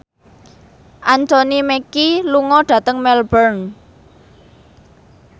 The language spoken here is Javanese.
Anthony Mackie lunga dhateng Melbourne